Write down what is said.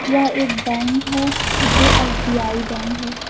यह एक बैंक है जो एस_बी_आई बैंक है।